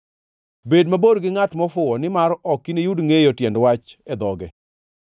Bed mabor gi ngʼat mofuwo nimar ok iniyud ngʼeyo tiend wach e dhoge.